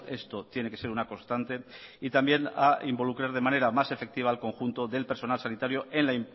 esto tiene que ser una constante y también a involucrar de manera más efectiva al conjunto del personal sanitario en la